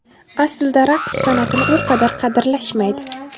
Aslida raqs san’atini u qadar qadrlashmaydi.